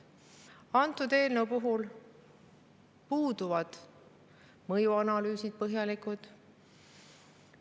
Antud eelnõu puhul puuduvad põhjalikud mõjuanalüüsid.